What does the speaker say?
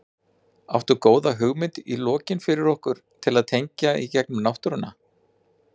Áttu góða hugmynd í lokin fyrir okkur til að tengja í gegnum náttúruna?